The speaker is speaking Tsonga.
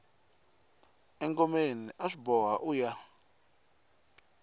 engomeni aswi boha uya